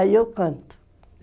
Aí eu canto.